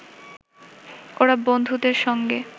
ওরা বন্ধুদের সঙ্গে